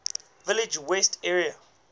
village west area